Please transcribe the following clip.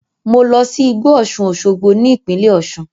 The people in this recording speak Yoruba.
Mo lọ sí igbó Osun-oshogbo ní ìpínlẹ̀ Osun.